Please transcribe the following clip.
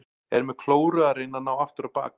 Er með klóru að reyna að ná aftur á bak.